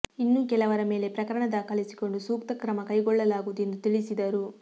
ಇನ್ನೂ ಕೆಲವರ ಮೇಲೆ ಪ್ರಕರಣ ದಾಖಲಿಸಿಕೊಂಡು ಸೂಕ್ತ ಕ್ರಮ ಕೈಗೊಳ್ಳಲಾಗುವುದು ಎಂದು ತಿಳಿಸಿದರು